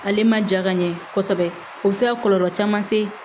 Ale ma ja ka ɲɛ kosɛbɛ o bi se ka kɔlɔlɔ caman se